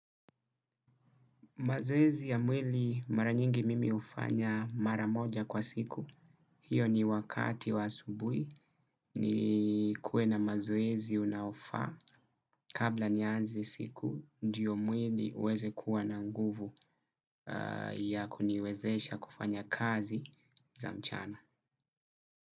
Mazoezi ya mwili mara nyingi mimi hufanya mara moja kwa siku, hiyo ni wakati wa asubuhi ni nikuwe na mazoezi unaofaa kabla nianze siku ndio mwili uweze kuwa na nguvu ya kuniwezesha kufanya kazi za mchana.